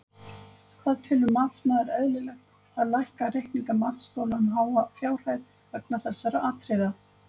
Hvað telur matsmaður eðlilegt að lækka reikninga matsþola um háa fjárhæð vegna þessara atriða?